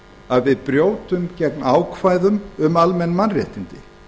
að við brjótum gegn ákvæðum um almenn mannréttindi